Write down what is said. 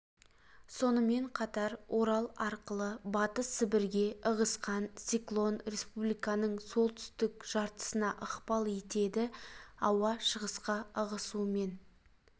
сонымен қатар орал арқылы батыс сібірге ығысқан циклон республиканың солтүстік жартысына ықпал етеді ауа шығысқа ығысуымен